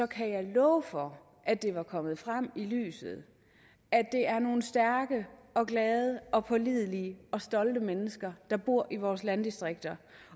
kan jeg love for at det var kommet frem i lyset at det er nogle stærke og glade og pålidelige og stolte mennesker der bor i vores landdistrikter